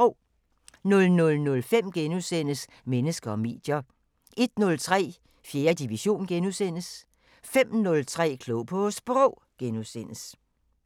00:05: Mennesker og medier * 01:03: 4. division * 05:03: Klog på Sprog *